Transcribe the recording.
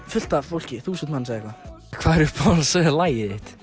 fullt af fólki þúsund manns eða eitthvað hvað er uppáhalds lagið þitt